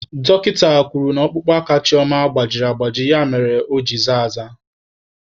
Dọkịta kwuru na ọkpụkpụ aka Chioma gbajiri agbaji ya mere aka ya ji zaa aza.